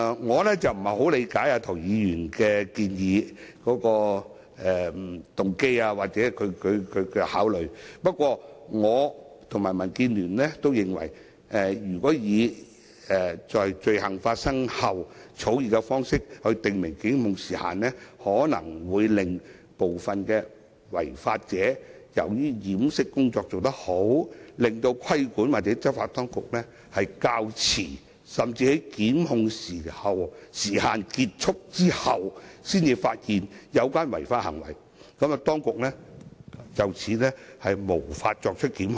我不太理解涂議員的動機或考慮，不過，我及民建聯均認為，如果以"於犯罪後"的草擬方式訂明檢控時限，部分違法者可能會由於掩飾工夫做得好，使規管或執法當局較遲甚至在檢控時限完結後才發現有關違法行為，以致無法作出檢控。